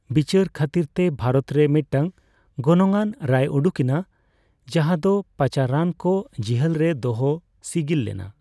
ᱵᱤᱪᱟᱹᱨ ᱠᱷᱟᱹᱛᱤᱨᱛᱮ ᱵᱷᱟᱨᱚᱛᱨᱮ ᱢᱤᱫᱴᱟᱝ ᱜᱚᱱᱚᱝᱼᱟᱱ ᱨᱟᱭ ᱩᱰᱩᱠᱮᱱᱟ ᱡᱟᱦᱟᱸ ᱫᱚ ᱯᱟᱪᱟᱨᱟᱱᱠᱚ ᱡᱤᱦᱟᱹᱞᱨᱮ ᱫᱚᱦᱚ ᱥᱤᱜᱤᱞ ᱞᱮᱱᱟ ᱾